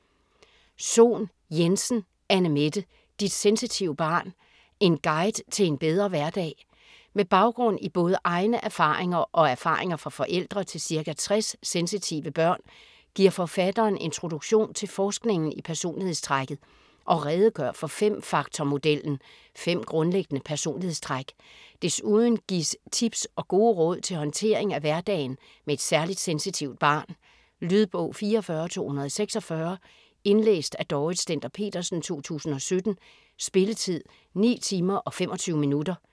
Sohn Jensen, Anne-Mette: Dit sensitive barn: en guide til en bedre hverdag Med baggrund i både egne erfaringer og erfaringer fra forældre til ca. 60 sensitive børn giver forfatteren introduktion til forskningen i personlighedstrækket og redegør for fem-faktor-modellen - fem grundlæggende personlighedstræk. Desuden gives tips og gode råd til håndtering af hverdagen med et særligt sensitivt barn. Lydbog 44246 Indlæst af Dorrit Stender-Petersen, 2017. Spilletid: 9 timer, 25 minutter.